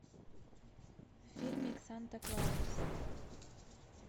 фильмик санта клаус